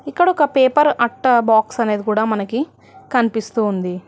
ఇక్కడ ఒక పేపర్ అట్ట బాక్స్ అనేది కూడా మనకి కనిపిస్తోంది.